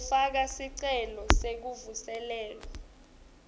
kufaka sicelo sekuvuselelwa